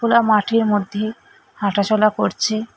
ওরা মাঠের মধ্যে হাঁটাচলা করছে।